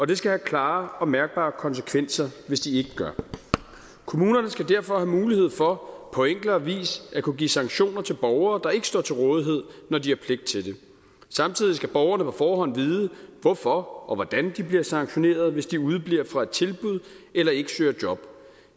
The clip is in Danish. det skal have klare og mærkbare konsekvenser hvis de ikke gør kommunerne skal derfor have mulighed for på enklere vis at kunne give sanktioner til borgere der ikke står til rådighed når de har pligt til det samtidig skal borgerne på forhånd vide hvorfor og hvordan de bliver sanktionerede hvis de udebliver fra et tilbud eller ikke søger job